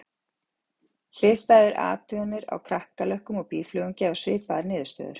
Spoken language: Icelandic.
Hliðstæðar athuganir á kakkalökkum og býflugum gefa svipaðar niðurstöður.